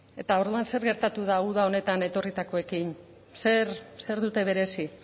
eta orduan zer gertatuta da uda honetan etorritakoekin zer dute berezi